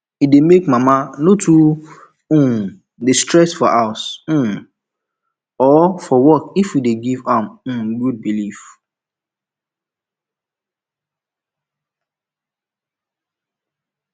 e dey make mama no too um dey stress for house um or for work if we dey give am um good belief